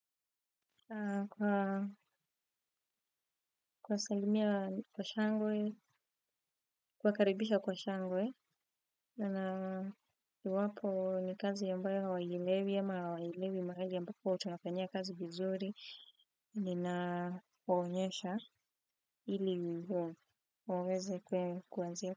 Kwa salimia kwa shangwe, kuwakaribisha kwa shangwe, na kwai wapo ni kazi ambayo hauielewi, ama wajilevi mahali ambapo tunafanyia kazi vizuri, ninawaonesha ili muweze kwenye kuanzia.